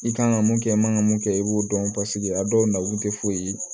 I kan ka mun kɛ i man kan ka mun kɛ i b'o dɔn paseke a dɔw na kun tɛ foyi ye